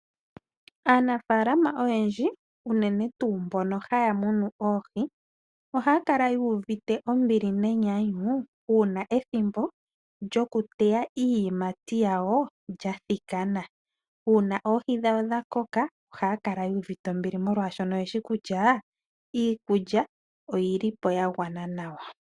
Aanafaalama oyendji unene tuu mbono haya munu oohi ohaya kala yu uvite ombili nenyanyu uuna ethimbo lyokuteya iiyimati yawo lya thikana. Uuna oohi dhawo dha koka ohaya kala yu uvite ombili molwashoka oye shi kutya iikulya oyi li po ya gwana nawa.